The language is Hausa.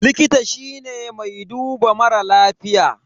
Likita shine mai duba mara lafiya.